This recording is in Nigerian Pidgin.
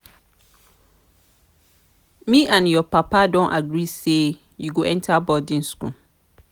me and your papa don agree say you go enter boarding school